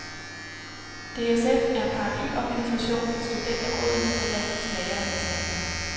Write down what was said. DSF er paraplyorganisation for studenterrådene på landets læreanstalter.